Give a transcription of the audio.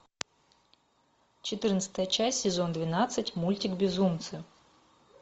четырнадцатая часть сезон двенадцать мультик безумцы